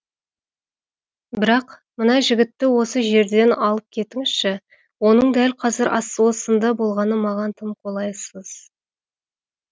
бірақ мына жігітті осы жерден алып кетіңізші оның дәл қазір ас осында болғаны маған тым қолайсыз